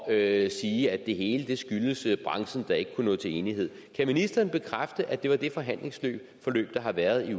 at sige at det hele skyldes branchen der ikke kunne nå til enighed kan ministeren bekræfte at det er det forhandlingsforløb der har været i